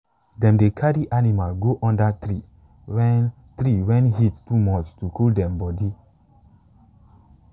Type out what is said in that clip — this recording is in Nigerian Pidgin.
dem dey carry animals go under tree when tree when heat too much to cool dem body.